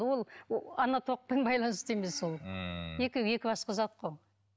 ол ана тоқпен байланысты емес ол ммм екеуі екі басқа зат қой